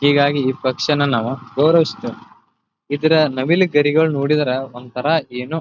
ಹೀಗಾಗಿ ಈ ಪಕ್ಷಿನ ನಾವು ಗೌರವಿಸುತ್ತೆವೆ ಇದರ ನವಿಲು ಗರಿಗಳನ್ನು ನೋಡಿದರೆ ಒಂತರ ಏನೋ--